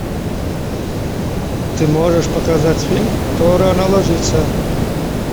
ты можешь показать фильм кто рано ложится